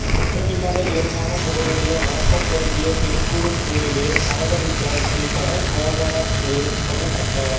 குற்றமில்லாத இயல்பான புகழையுடைய வளப்பம் பொருந்திய திருக்குருகூரிலே அவதரித்த ஸ்ரீசடகோபராலே சொல்லப்பட்ட